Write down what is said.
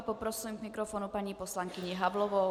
A poprosím k mikrofonu paní poslankyni Havlovou.